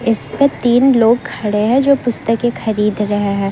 इस पर तीन लोग खड़े हैं जो पुस्तक खरीद रहे हैं।